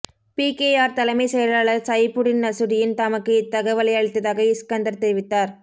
PKR தலைமைச் செயலாளர் Saifuddin Nasution தமக்கு இத்தகவலை அளித்ததாக இஸ்கந்தர் தெரிவித்தார்